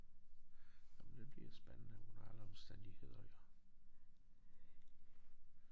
Nåh men det bliver spændende under alle omstændigheder jo